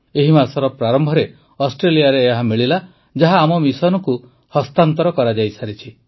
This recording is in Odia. ଏହି ମାସର ପ୍ରାରମ୍ଭରେ ଅଷ୍ଟ୍ରେଲିଆରେ ଏହା ମିଳିଲା ଯାହା ଆମ ମିଶନକୁ ହସ୍ତାନ୍ତର କରାଯାଇସାରିଛି